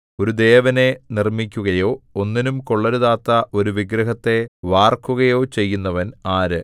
ഒരു ദേവനെ നിർമ്മിക്കുകയോ ഒന്നിനും കൊള്ളരുതാത്ത ഒരു വിഗ്രഹത്തെ വാർക്കുകയോ ചെയ്യുന്നവൻ ആര്